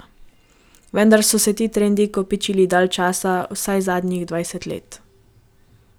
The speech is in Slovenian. Vendar so se ti trendi kopičili dalj časa, vsaj zadnjih dvajset let.